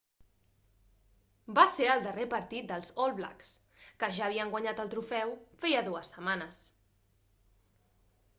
va ser el darrer partit dels all blacks que ja havien guanyat el trofeu feia dues setmanes